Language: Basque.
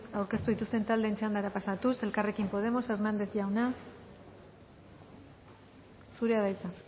aurkeztu dituzten taldeen txandara pasatuz elkarrekin podemos hernández jauna zurea da hitza